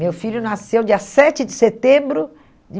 Meu filho nasceu dia sete de setembro de